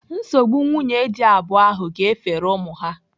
Nsogbu nwunye dị abụọ ahụ ga-efere ụmụ ha.